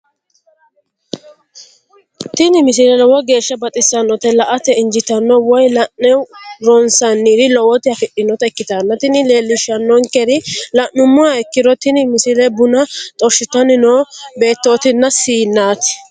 tini misile lowo geeshsha baxissannote la"ate injiitanno woy la'ne ronsannire lowote afidhinota ikkitanna tini leellishshannonkeri la'nummoha ikkiro tini misile buna xorshitanni noo beettootinna siinnate.